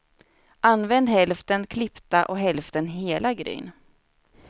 Använd hälften klippta och hälften hela gryn.